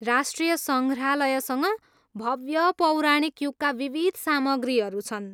राष्ट्रिय सङ्ग्रहालयसँग भव्य पौराणिक युगका विविध सामग्रीहरू छन्।